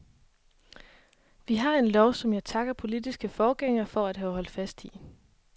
Vi har en lov, som jeg takker politiske forgængere for at have holdt fast i.